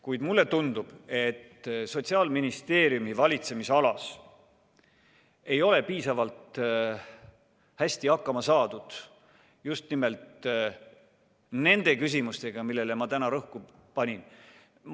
Kuid mulle tundub, et Sotsiaalministeeriumi valitsemisalas ei ole piisavalt hästi hakkama saadud just nimelt nende küsimustega, millele ma täna rõhku panin.